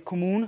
kommuner